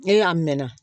Ne a mɛna